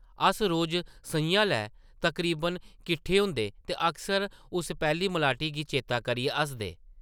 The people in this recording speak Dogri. अस रोज सʼञां ’लै तकरीबन किट्ठे होंदे ते अक्सर उस पैह्ली मलाटी गी चेतै करियै हसदे ।